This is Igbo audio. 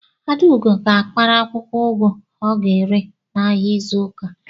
Adaugo ga-akpara akwụkwọ ugu ọ ga-ere n'ahịa n'izu ụka.